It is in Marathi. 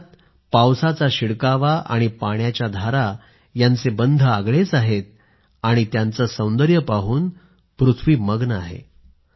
अर्थात पावसाचा शिडकावा आणि पाण्याच्या धारा यांचे बंध आगळेच आहेत आणि त्यांचं सौंदर्य पाहून पृथ्वी मग्न आहे